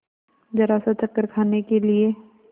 जरासा चक्कर खाने के लिए